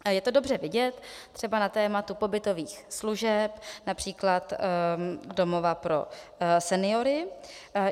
Je to dobře vidět třeba na tématu pobytových služeb, například domova pro seniory.